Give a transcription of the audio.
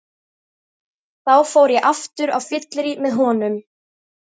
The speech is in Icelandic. Þá fór ég aftur á fyllerí með honum.